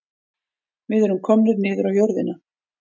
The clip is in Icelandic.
Við erum komnir niður á jörðina